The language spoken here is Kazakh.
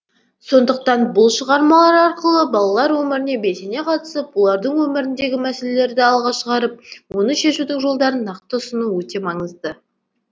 сондықтан бұл шығармалар арқылы балалар өміріне белсене қатысып олардың өміріндегі мәселелерді алға шығарып оны шешудің жолдарын нақты ұсыну өте маңызды